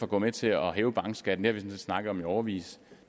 gå med til at hæve bankskatten det snakket om i årevis